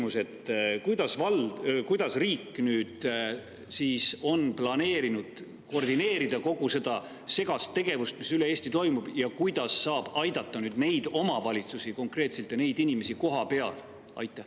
Mul on küsimus: kuidas on riik planeerinud koordineerida kogu seda segast tegevust, mis üle Eesti toimub, ja kuidas saab konkreetselt aidata nüüd neid omavalitsusi ja neid inimesi, kes on kohapeal?